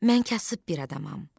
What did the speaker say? Mən kasıb bir adamam.